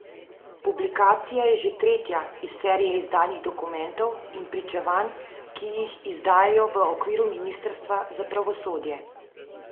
Publikacija je že tretja iz serije izdanih dokumentov in pričevanj, ki jih izdajajo v okviru ministrstva za pravosodje.